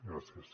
gràcies